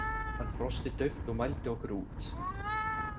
Hann brosti dauft og mældi okkur út.